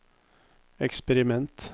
eksperiment